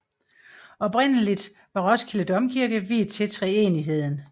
Oprindeligt var Roskilde Domkirke viet til treenigheden